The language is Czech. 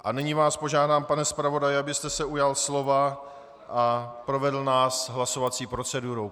A nyní vás požádám, pane zpravodaji, abyste se ujal slova a provedl nás hlasovací procedurou.